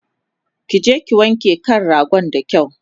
kije ki wanke kan ragon da kyau!